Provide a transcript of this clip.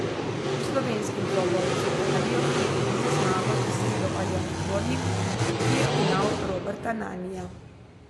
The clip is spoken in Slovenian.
V slovenskem dvoboju z Italijo je edino zmago dosegel Aljaž Dvornik, ki je ugnal Roberta Nanija.